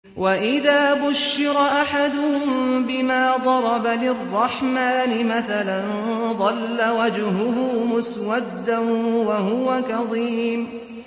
وَإِذَا بُشِّرَ أَحَدُهُم بِمَا ضَرَبَ لِلرَّحْمَٰنِ مَثَلًا ظَلَّ وَجْهُهُ مُسْوَدًّا وَهُوَ كَظِيمٌ